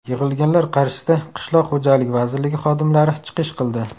Yig‘ilganlar qarshisida Qishloq xo‘jaligi vazirligi xodimlari chiqish qildi.